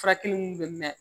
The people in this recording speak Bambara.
Furakɛli mun bɛ mɛn